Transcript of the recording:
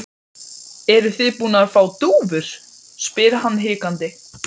Ég var rekin ófrísk frá Möðruvöllum, svaraði Helga.